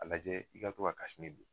A lajɛ i ka to ka don.